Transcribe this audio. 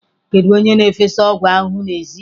Kedu onye na-efesa ọgwụ ahụhụ n'èzí?